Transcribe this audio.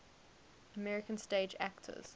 american stage actors